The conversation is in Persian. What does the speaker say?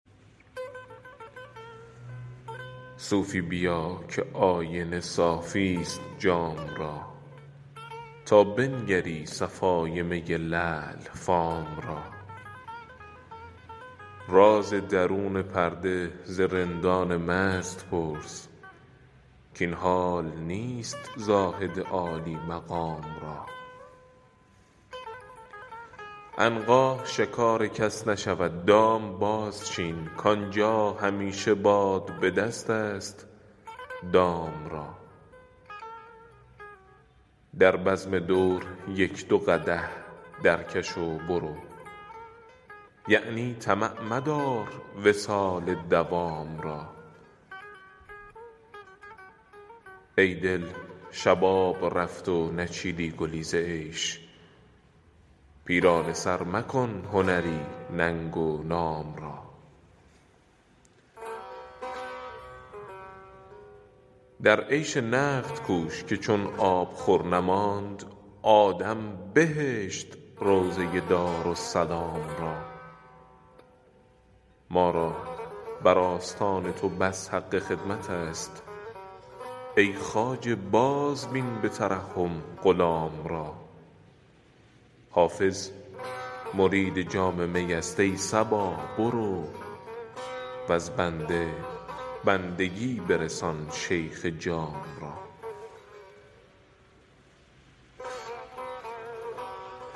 صوفی بیا که آینه صافی ست جام را تا بنگری صفای می لعل فام را راز درون پرده ز رندان مست پرس کاین حال نیست زاهد عالی مقام را عنقا شکار کس نشود دام بازچین کآنجا همیشه باد به دست است دام را در بزم دور یک دو قدح درکش و برو یعنی طمع مدار وصال مدام را ای دل شباب رفت و نچیدی گلی ز عیش پیرانه سر مکن هنری ننگ و نام را در عیش نقد کوش که چون آبخور نماند آدم بهشت روضه دارالسلام را ما را بر آستان تو بس حق خدمت است ای خواجه بازبین به ترحم غلام را حافظ مرید جام می است ای صبا برو وز بنده بندگی برسان شیخ جام را